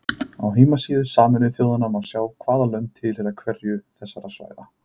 Á heimasíðu Sameinuðu þjóðanna má sjá hvaða lönd tilheyra hverju þessara svæða.